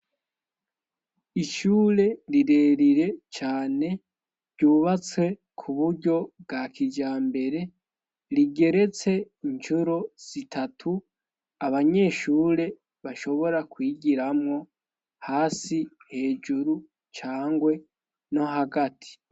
Ishure rirerire cane ryubatse ku buryo bwa kijambere rigeretse incuro zitatu abanyeshure bashobora kwigiramwo hasi hejuru cangwe no hagati.